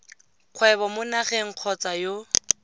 kgwebo mo nageng kgotsa yo